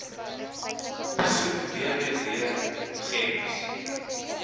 besoek www gems